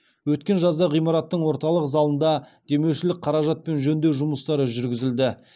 өткен жазда ғимараттың орталық залында демеушілік қаражатпен жөндеу жұмыстары жүргізілді